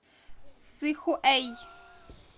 сыхуэй